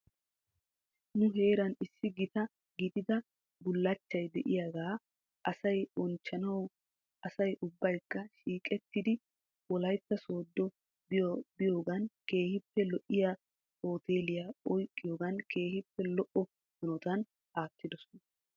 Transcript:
Nu heeran issi gita gidida bullachchay de'iyaaga asay bonchchanawu asay ubbaykka shiqettidi wolaytta soodo biyoogan keehippe lo'iyaa hooteliya oyqqiyoogan keehippe lo'o hanotan aattidosona.